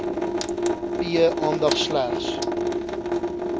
p aandag slegs